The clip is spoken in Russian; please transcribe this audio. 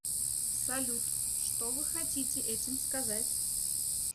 салют что вы хотите этим сказать